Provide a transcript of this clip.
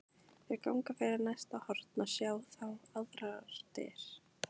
Þau ganga fyrir næsta horn og sjá þá aðrar dyr.